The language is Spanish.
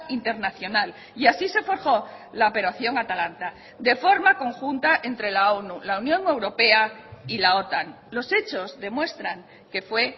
internacional y así se forjó la operación atalanta de forma conjunta entre la onu la unión europea y la otan los hechos demuestran que fue